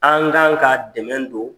An kan ka dɛmɛ don,